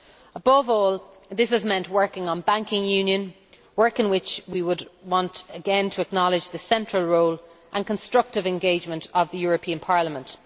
Above all, this has meant working on banking union, work in which we would want again to acknowledge the central role and constructive engagement of the European Parliament.